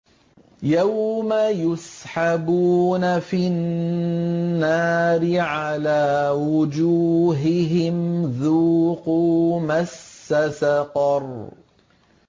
يَوْمَ يُسْحَبُونَ فِي النَّارِ عَلَىٰ وُجُوهِهِمْ ذُوقُوا مَسَّ سَقَرَ